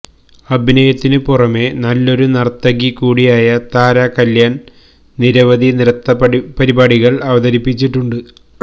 അഭിനയത്തിനുപുറമേ നല്ലൊരു നര്ത്തകി കൂടിയായ താര കല്യാണ് നിരവധി നൃത്തപരിപാടികള് അവതരിപ്പിച്ചിട്ടുണ്ട്